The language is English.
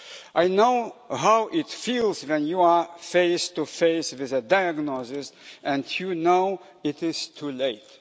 I know how it feels when you are face to face with a diagnosis and you know it is too late.